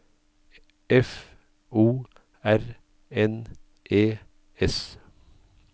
F O R N E S